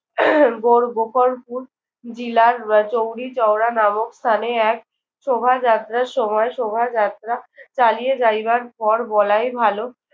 বড় গোপালপুর জিলার আহ চৌরিচৌরা নামক স্থানে এক শোভাযাত্রার সময় শোভাযাত্রা চালিয়ে যাইবার পর বলাই ভালো।